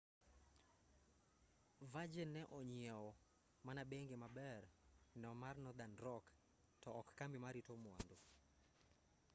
virgin ne onyieo mana 'bengi maber' no mar nothern rock to ok kambi marito mwandu